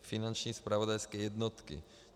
finanční zpravodajské jednotky.